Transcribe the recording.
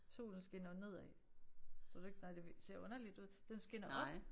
Solen skinner ned af. Tror du ikke nej det ser underligt ud den skinner op